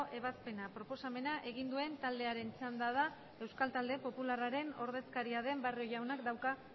ebazpena proposamena egin duen taldearen txanda da euskal talde popularraren ordezkaria den barrio jaunak dauka